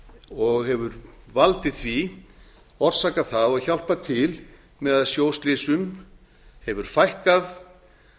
og hefur valdið því orsakað það og hjálpað til með að sjóslysum hefur fækkað